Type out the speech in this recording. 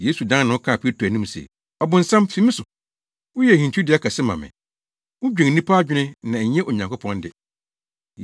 Yesu dan ne ho kaa Petro anim se, “Ɔbonsam, fi me so! Woyɛ hintidua kɛse ma me. Wudwen nnipa adwene na ɛnyɛ Onyankopɔn de.”